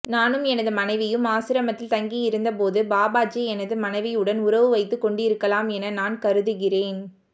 நானும் எனது மனைவியும் ஆசிரமத்தில் தங்கியிருந்தபோது பாபாஜி எனது மனைவியுடன் உறவு வைத்துக் கொண்டிருக்கலாம் என நான் கருதுகிறேன்